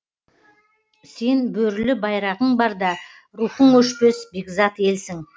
сен бөрілі байрағың барда рухың өшпес бекзат елсің